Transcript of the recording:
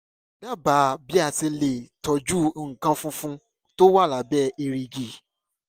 dábàá bí a ṣe le tọ́jú nǹkan funfun tó wà lábẹ́ èrìgì